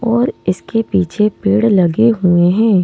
और इसके पीछे पेड़ लगे हुए हैं।